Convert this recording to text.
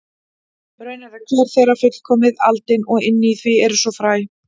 Raunar er hver þeirra fullkomið aldin og inni í því er svo fræ.